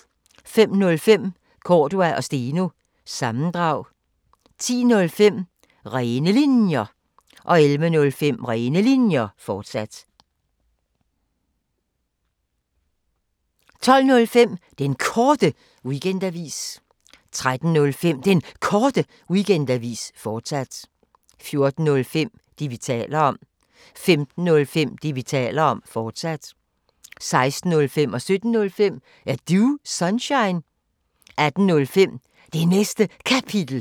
05:05: Cordua & Steno – sammendrag 10:05: Rene Linjer 11:05: Rene Linjer, fortsat 12:05: Den Korte Weekendavis 13:05: Den Korte Weekendavis, fortsat 14:05: Det, vi taler om 15:05: Det, vi taler om, fortsat 16:05: Er Du Sunshine? 17:05: Er Du Sunshine? 18:05: Det Næste Kapitel